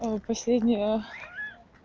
вот последнюю